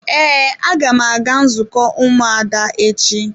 Ee, aga m aga nzukọ ụmụada echi.